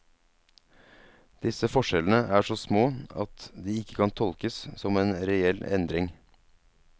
Disse forskjellene er så små at de ikke kan tolkes som en reell endring.